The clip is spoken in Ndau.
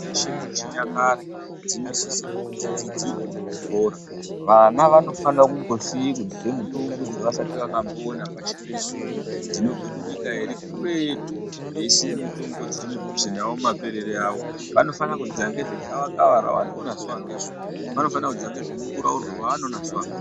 Mitombo dzeshe dzechinyakare dzinosise kuti dzidzidzirwe muzvikora. Vana vanofanire kumbosiye kudzidze mitombo dzavasati vakamboona pashi pezuva. Dzinobve kunyika iri kuretu veisiya mitombo dziri mudhuze navo mumaperere. avo. aVnofana kudzidza ngezvegavakava ravanoona zuva ngezuva. Vanofana kudzidza ngezvemunguraurwe vaanoona zuva ngezuva.